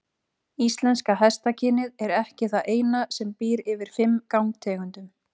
Íslenska hestakynið er ekki það eina sem býr yfir fimm gangtegundum.